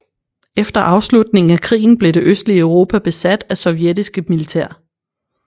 Efter afslutningen af krigen blev det østlige Europa besat af sovjetisk militær